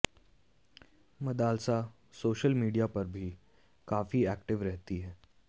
Madalasa social media पर भी काफी एक्टिव रहती है